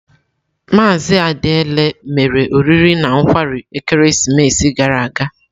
Maazị Adiele mere oriri na nkwarị ekeresimesi gara aga.